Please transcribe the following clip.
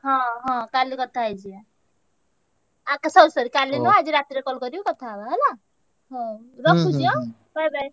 ହଁ ହଁ କାଲି କଥା ହେଇଯିବା। ଆ~ କା~ sorry sorry କାଲି ନୁହଁ ଆଜି ରାତିରେ call କରି କଥା ହବା ହେଲା। ହଉ ରଖୁଛି bye bye